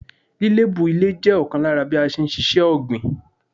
Lílébú ilè jẹ́ ọ̀kan lára bí a n síse ọ̀gbìn